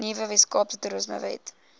nuwe weskaapse toerismewet